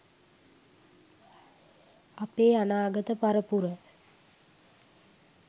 අපේ අනාගත පරපුර